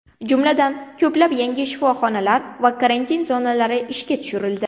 Jumladan, ko‘plab yangi shifoxonalar va karantin zonalari ishga tushirildi.